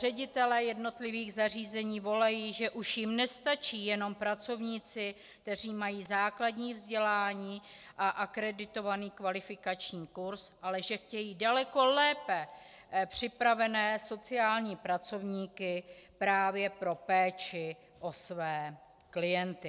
Ředitelé jednotlivých zařízení volají, že už jim nestačí jenom pracovníci, kteří mají základní vzdělání a akreditovaný kvalifikační kurz, ale že chtějí daleko lépe připravené sociální pracovníky právě pro péči o své klienty.